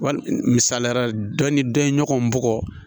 Wa misaliya la dɔ ni dɔ ye ɲɔgɔn bugɔ